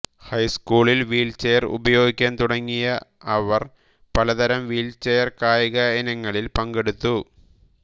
ഹൈസ്കൂളിൽ വീൽചെയർ ഉപയോഗിക്കാൻ തുടങ്ങിയ അവർ പലതരം വീൽചെയർ കായിക ഇനങ്ങളിൽ പങ്കെടുത്തു